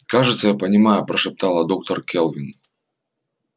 кажется я понимаю прошептала доктор кэлвин